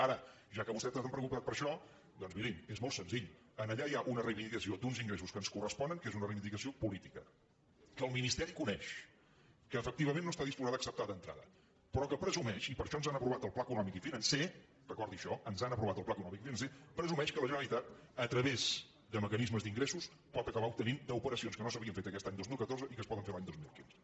ara ja que vostè tant es preocupa per això doncs mirin és molt senzill allà hi ha una reivindicació d’uns ingressos que ens corresponen que és una reivindicació política que el ministeri coneix que efectivament no està disposat a acceptar d’entrada però que presumeix i per això ens han aprovat el pla econòmic i financer recordi això ens han aprovat el pla econòmic i financer presumeix que la generalitat a través de mecanismes d’ingressos pot acabar obtenint d’operacions que no s’havien fet aquest any dos mil catorze i que es poden fer l’any dos mil quinze